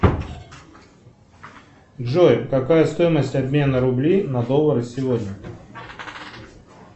джой какая стоимость обмена рублей на доллары сегодня